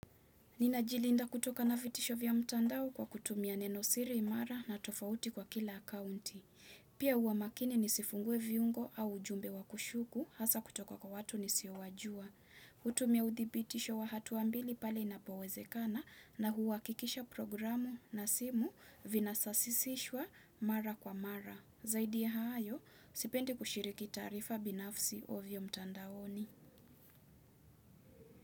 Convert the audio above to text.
Ninajilinda kutoka na vitisho vya mtandao kwa kutumia nenosiri imara na tofauti kwa kila akaunti. Pia huwa makini nisifungue viungo au ujumbe wa kushuku hasa kutoka kwa watu nisiowajua. Hutumia udhibitisho wa hatua mbili pale inapowezekana na huhakikisha programu na simu vinasasisishwa mara kwa mara. Zaidi ya hayo, sipendi kushiriki taarifa binafsi ovyo mtandaoni.